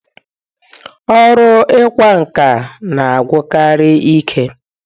Ọrụ ịkwa nkà na-agwụkarị ike.